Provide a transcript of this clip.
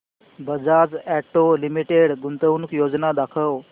Bajaj auto limited गुंतवणूक योजना दाखव